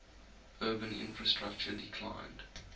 urban infrastructure declined